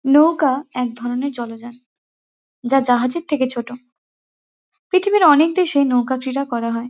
নৌকা একধরণের জলযান। যা জাহাজের থেকে ছোট। পৃথিবীর অনেক দেশেই নৌকা ক্রীড়া করা হয়।